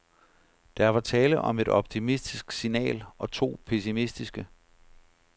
Der var tale om et optimistisk signal og to pessimistiske.